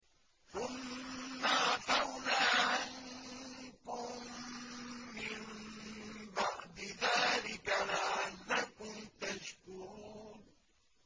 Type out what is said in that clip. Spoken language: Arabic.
ثُمَّ عَفَوْنَا عَنكُم مِّن بَعْدِ ذَٰلِكَ لَعَلَّكُمْ تَشْكُرُونَ